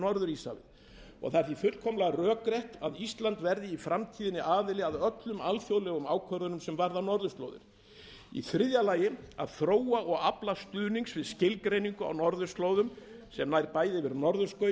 norður íshafið það er því fullkomlega rökrétt að ísland verði í framtíðinni aðili að öllum alþjóðlegum ákvörðunum sem varða norðurslóðir í þriðja lagi að þróa og afla stuðnings við skilgreiningu á norðurslóðum sem nær bæði yfir